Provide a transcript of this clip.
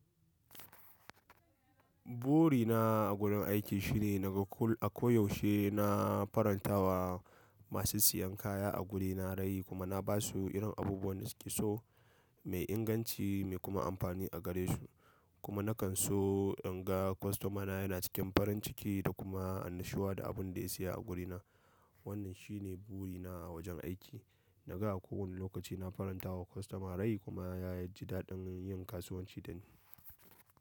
Buri na a gurin aiki shine na ga kul a koyaushe na farantawa masu siyan kaya a guri na rai kuma na ba su irin abubuwan da su ke so, mai inganci, mai kuma amfani a gare su. Kuma na kan so in ga kwastomana yana cikin farin ciki da kuma annashuwa da abin da ya saya a guri na. Wannan shi ne buri na a wajen aiki. Na ga a kowane lokaci na farantawa kwastoma rai kuma ya ji daɗin yin kasuwanci da ni.